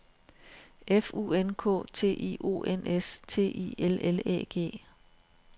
F U N K T I O N S T I L L Æ G